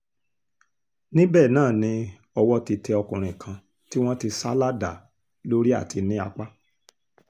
níbẹ̀ náà ni ọwọ́ ti tẹ ọkùnrin kan tí wọ́n ti sá ládàá lórí àti ní apá